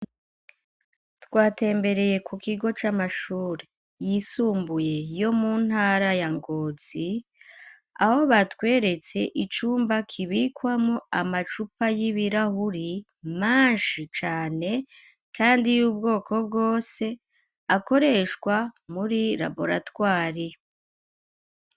Twatembereye ku kigo c'amashuri yisumbuye, yo mu ntara ya ngozi ,aho batweretse icumba kibikwamwo amacupa y'ibirahuri menshi cane ,kandi y'ubwoko bwose akoreshwa muri laboratwari..